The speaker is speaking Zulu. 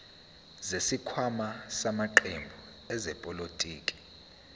zesikhwama samaqembu ezepolitiki